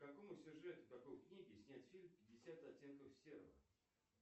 по какому сюжету какой книги снят фильм пятьдесят оттенков серого